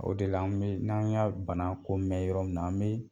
O de la an bi n'an y'a bana ko mɛn yɔrɔ min na an bi